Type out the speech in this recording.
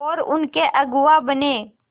और उनके अगुआ बने